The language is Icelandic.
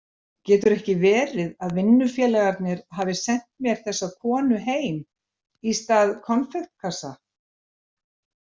Getur ekki verið vinnufélagarnir hafi sent mér þessa konu heim, í stað konfektkassa?